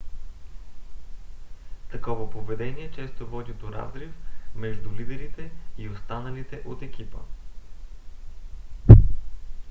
такова поведение често води до разрив между лидерите и останалите от екипа